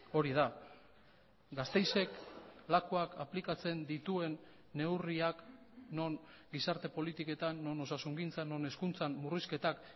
hori da gasteizek lakuak aplikatzen dituen neurriak non gizarte politiketan non osasungintzan non hezkuntzan murrizketak